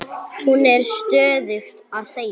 Hún er stöðugt að segja